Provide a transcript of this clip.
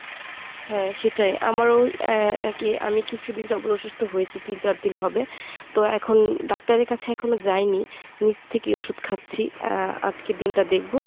হ্যাঁ সেটিই। আমারও এ~ একি আমি কিছুদিন যাবত অসুস্থ হয়েছি তিন চারদিন হবে। তো এখন doctor এর কাছে এখনও যাইনি, নিজ থেকে ওষুধ খাচ্ছি আর আজকের দিনটা দেখব।